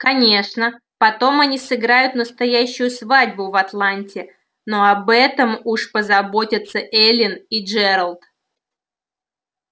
конечно потом они сыграют настоящую свадьбу в атланте но об этом уж позаботятся эллин и джералд